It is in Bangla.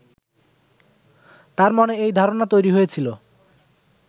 তাঁর মনে এই ধারণা তৈরি হয়েছিল